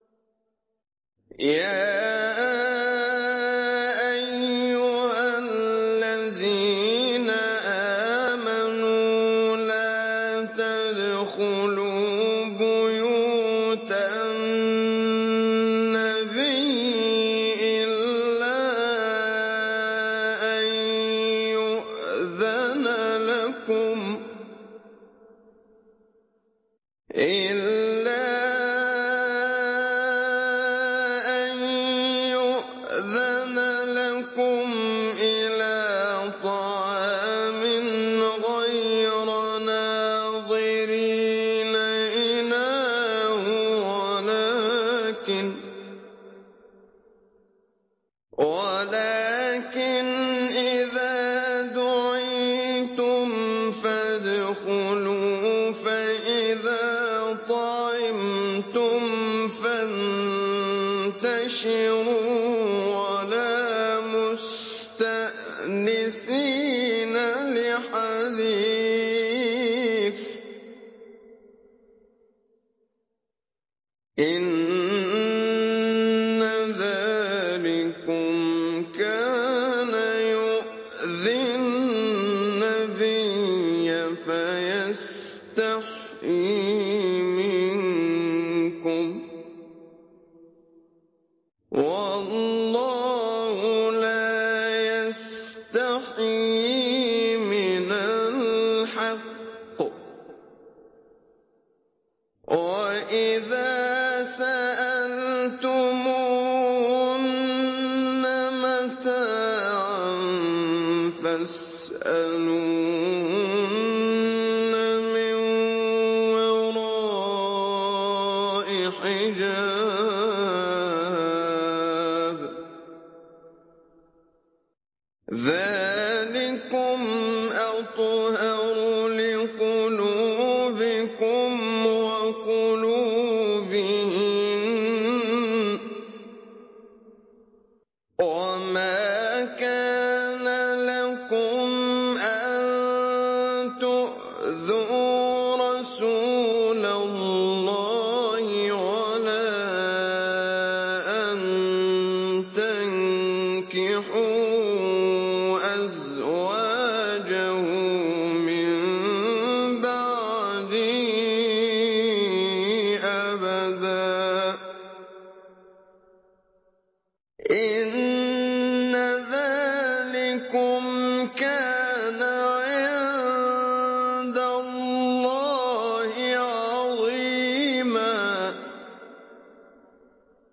يَا أَيُّهَا الَّذِينَ آمَنُوا لَا تَدْخُلُوا بُيُوتَ النَّبِيِّ إِلَّا أَن يُؤْذَنَ لَكُمْ إِلَىٰ طَعَامٍ غَيْرَ نَاظِرِينَ إِنَاهُ وَلَٰكِنْ إِذَا دُعِيتُمْ فَادْخُلُوا فَإِذَا طَعِمْتُمْ فَانتَشِرُوا وَلَا مُسْتَأْنِسِينَ لِحَدِيثٍ ۚ إِنَّ ذَٰلِكُمْ كَانَ يُؤْذِي النَّبِيَّ فَيَسْتَحْيِي مِنكُمْ ۖ وَاللَّهُ لَا يَسْتَحْيِي مِنَ الْحَقِّ ۚ وَإِذَا سَأَلْتُمُوهُنَّ مَتَاعًا فَاسْأَلُوهُنَّ مِن وَرَاءِ حِجَابٍ ۚ ذَٰلِكُمْ أَطْهَرُ لِقُلُوبِكُمْ وَقُلُوبِهِنَّ ۚ وَمَا كَانَ لَكُمْ أَن تُؤْذُوا رَسُولَ اللَّهِ وَلَا أَن تَنكِحُوا أَزْوَاجَهُ مِن بَعْدِهِ أَبَدًا ۚ إِنَّ ذَٰلِكُمْ كَانَ عِندَ اللَّهِ عَظِيمًا